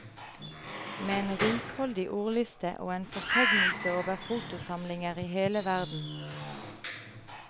Med en rikholdig ordliste og en fortegnelse over fotosamlinger i hele verden.